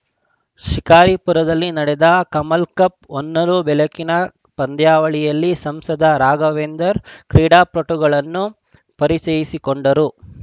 ಶಿಕಾರಿಪುರದಲ್ಲಿ ನಡೆದ ಕಮಲಕಪ್‌ ಹೊನಲು ಬೆಳಕಿನ ಪಂದ್ಯಾವಳಿಯಲ್ಲಿ ಸಂಸದ ರಾಘವೇಂದರ್ ಕ್ರೀಡಾಪಟುಗಳನ್ನು ಪರಿಚಯಿಸಿಕೊಂಡರು